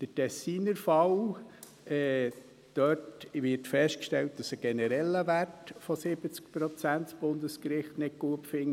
Der Tessiner Fall: Dort wird festgestellt, dass das Bundesgericht einen generellen Wert von 70 Prozent nicht gut findet.